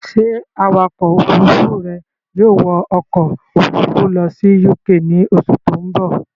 Ṣé Awakọ̀ òfurufú rẹ yóò wọ ọkọ̀ òfurufú lọ sí UK ní oṣù tó ń bọ̀?